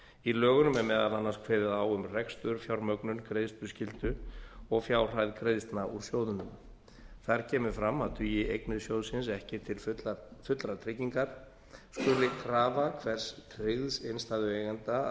í lögunum er meðal annars kveðið á um rekstur fjármögnun greiðsluskyldu og fjárhæð greiðslna úr sjóðnum þar kemur fram að dugi eignir sjóðsins ekki til fullrar tryggingar skuli krafa hvers tryggðs innstæðueiganda að